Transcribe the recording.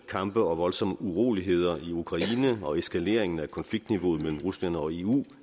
kampe og voldsomme uroligheder i ukraine og eskaleringen af konfliktniveauet mellem rusland og eu